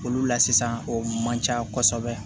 Olu la sisan o man ca kosɛbɛ